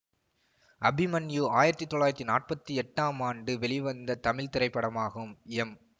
அபிமன்யு ஆயிரத்தி தொள்ளாயிரத்தி நாற்பத்தி எட்டாம் ஆண்டு வெளிவந்த தமிழ் திரைப்படமாகும் எம்